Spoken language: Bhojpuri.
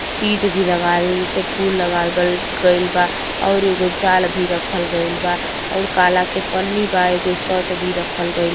चीज भी लगावल जैसे फूल लगावल बल गइल बा ओरी एगो जाल भी रखल गइल बा और काला के पन्नी बा एगो शर्ट भी रखल गइल --